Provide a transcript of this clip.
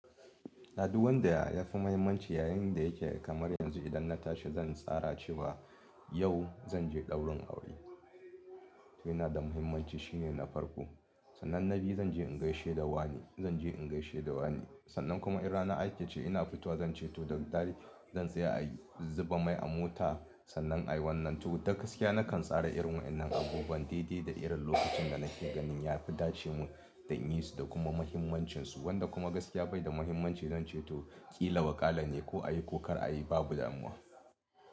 Aduwan da ya fi muhimmanci yayin da yake kamar yanzu idan na tashi zan tsara cewa yau zan je daurin aure. To yana da muhimmanci shine na farko. Sannan na biyu zan je in gaishe da wani, zan je in gaishe da wani. Sannan kuma in rana ake ce ina fitowa zan ce to da daddare zan tsaya a zuba mai a mota. Sannan a yiwannan to da gaskiya nakan tsara irin wa'inan abubuwan daidai da irin lokacin da nake ganin ya fi dace mun da inyisu da kuma muhimmancinsu wanda kuma gaskiya bai da muhimmanci zan ce to ƙila waƙala ne ko a yi ko kar a yi babu damuwa.